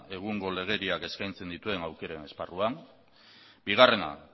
egungo legeriak eskaintzen dituen aukeren esparruan bigarrena